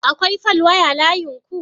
Akwai falwaya layinku?